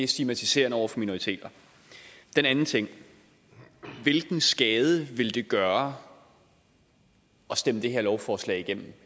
stigmatiserende over for minoriteter den anden ting hvilken skade ville det gøre at stemme det her lovforslag igennem